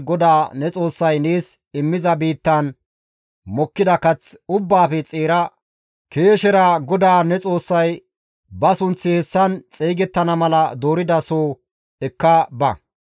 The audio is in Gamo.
GODAA ne Xoossay nees immiza biittan mokkida kath ubbaafe xeera keeshera GODAA ne Xoossay ba sunththi hessan xeygettana mala dooridaso ekka ba.